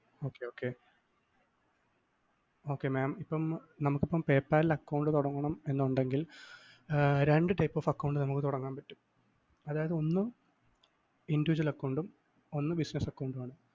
okay okay okay mam ഇപ്പം നമുക്കിപ്പോ PayPal ല്‍ account തുടങ്ങണം എന്നുണ്ടെങ്കില്‍ രണ്ട് type of account നമുക്ക് തുടങ്ങാന്‍ പറ്റും അതായത് ഒന്ന് individual account ഉം ഒന്ന് business account മാണ്.